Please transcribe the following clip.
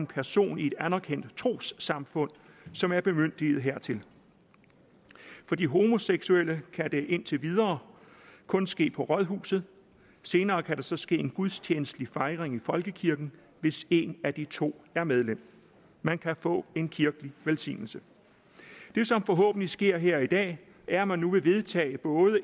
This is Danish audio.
person i et anerkendt trossamfund som er bemyndiget hertil for de homoseksuelle kan det indtil videre kun ske på rådhuset senere kan der så ske en gudstjenestelig fejring i folkekirken hvis en af de to er medlem man kan få en kirkelig velsignelse det som forhåbentlig sker her i dag er at man nu vil vedtage både